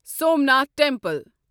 Somnath temple